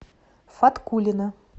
фаткуллина